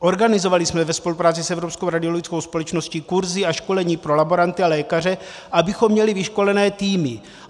Organizovali jsme ve spolupráci s Evropskou radiologickou společností kurzy a školení pro laboranty a lékaře, abychom měli vyškolené týmy.